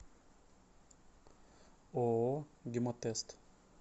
ооо гемотест